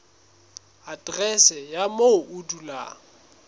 aterese ya moo o dulang